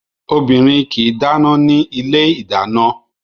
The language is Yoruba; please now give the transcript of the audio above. Obìnrin kì í dáná ní ilé ìdáná